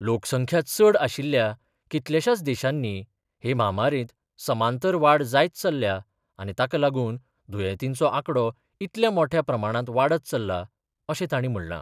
लोकसंख्या चड आशिल्ल्या कितल्याशाच देशांनी हे म्हामारेंत समांतर वाड जायत चल्ल्या आनी ताकालागून दुयेंतींचो आकडो इतल्या मोठ्या प्रमाणांत वाडत चल्ला, अशें ताणीं म्हणलां.